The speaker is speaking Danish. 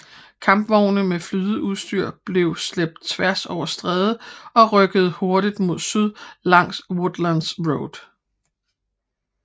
Kampvogne med flydeudstyr blev slæbt tværs over strædet og rykkede hurtigt mod syd langs Woodlands Road